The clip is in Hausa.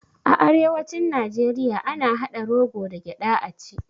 A arewacin najeriya ana haɗa rogo da gyaɗa a ci